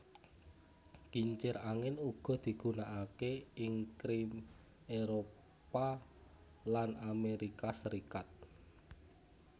Kincir angin uga digunanaké ing Krim Éropah lan Amérika Serikat